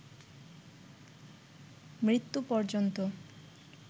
মৃত্যু পর্যন্ত